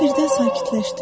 O birdən sakitləşdi.